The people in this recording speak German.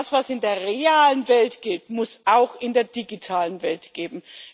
Das, was in der realen Welt gilt, muss auch in der digitalen Welt gelten.